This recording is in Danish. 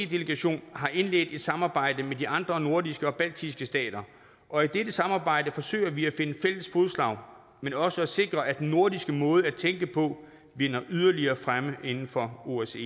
delegation har indledt et samarbejde med de andre nordiske og baltiske stater og i dette samarbejde forsøger vi at finde fælles fodslag men også at sikre at den nordiske måde at tænke på nyder yderligere fremme inden for osce